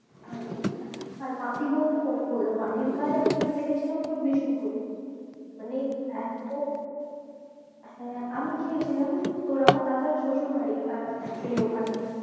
আচ্ছা আচ্ছা আর মাটি বলতে মনে পড়লো। মাটির কাজ আমি কিছু দেখেছিলাম তোর বিষ্ণুপুরে। মানে এত হ্যাঁ আমি গিয়েছিলাম তোর আমার দাদার শশুরবাড়ি আর actually ওখানে।